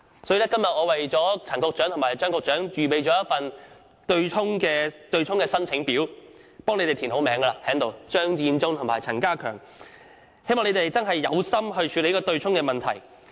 我今天特意為陳局長和張局長預備了一份"對沖申請表"，並已填上他們的名字，希望他們決心處理強積金對沖問題。